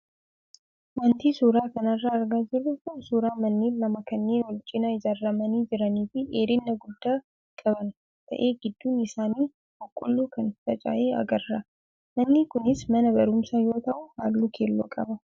Wanti suuraa kanarraa argaa jirru kun suuraa manneen lama kanneen wal cinaa ijaaramanii jiranii fi dheerina guddaa qaban ta'ee gidduun isaa boqqoolloo kan faca'e agarra. Manni kunis mana barumsaa yoo ta'u, halluu keelloo qaba.